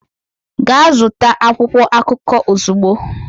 Gaa zụta akwụkwọ akụkọ ozugbo!